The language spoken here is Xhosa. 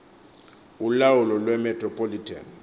ulawulo lwe metropolitan